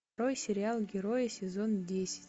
открой сериал герои сезон десять